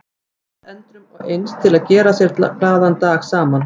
Þeir hittust endrum og eins til þess að gera sér glaðan dag saman.